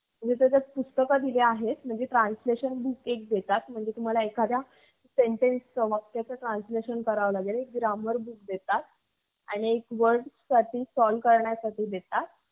म्हणजे translation book एक देतात. म्हणजे तुम्ही कोणत्याही वाक्याचे किंवा शब्दाचे translation करू शकता. grammar book देतात. आणि word solve देतात. म्हणजे तुम्ही word solve करू शकता.